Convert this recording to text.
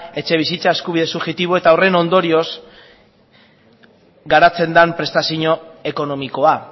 etxebizitza eskubide subjektiboa eta horren ondorioz garatzen den prestazio ekonomikoa